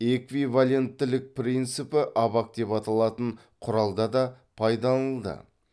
эквиваленттілік принципі абак деп аталатын құралда да пайдаланылды